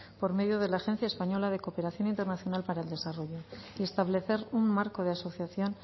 por medio de la agencia española de cooperación internacional para el desarrollo y establecer un marco de asociación